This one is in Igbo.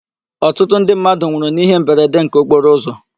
Ọtụtụ ndị mmadụ nwụrụ n'íhé mberede nke okporo ụzọ.